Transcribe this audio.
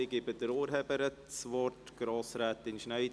Ich gebe das Wort der Urheberin der Motion, Grossrätin Schneider.